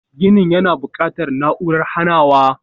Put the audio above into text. Ginin yana buƙatar na'urar hanawa.